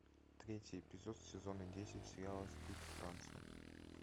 третий эпизод сезона десять сериала стыд франция